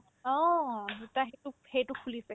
অ, দুটাই সেইটোক সেইটো খোলিছে